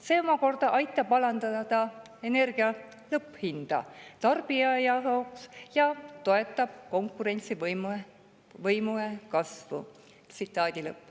See omakorda aitab alandada energia lõpphinda tarbijate jaoks ja toetab konkurentsivõime kasvu.